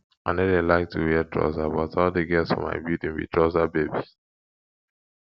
i no dey like to wear trouser but all the girls for my building be trouser babes